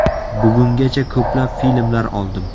Bugungacha ko‘plab filmlar oldim.